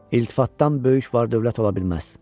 İltifatdan böyük var-dövlət ola bilməz.